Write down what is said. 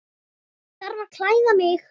Ég þarf að klæða mig.